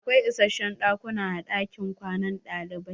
Akwai isashen ɗakuna a ɗakin kwanan ɗalibai.